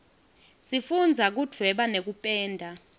sifundza kudvweba nekupenda